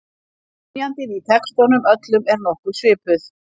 Hrynjandin í textunum öllum er nokkuð svipuð.